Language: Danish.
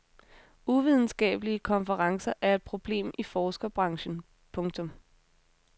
Uvidenskabelige konferencer er et problem i forskerbranchen. punktum